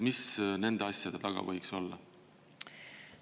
Mis nende asjade taga võiks olla?